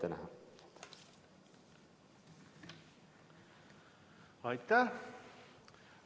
Aitäh!